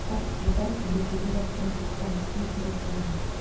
бұған жертөле жақтан шыққан түтін себеп болған